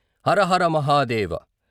Hara Hara Mahadeva!